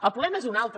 el problema és un altre